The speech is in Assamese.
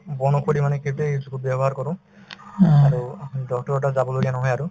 বন ঔষধি মানে সেইটোয়ে use কৰো ব্যৱহাৰ কৰো আৰু doctor ৰৰ তাত যাব লগীয়া নহয় আৰু